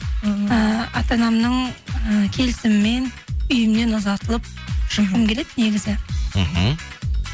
ы ата анамның і келісімімен үйімнен ұзатылып шыққым келеді негізі мхм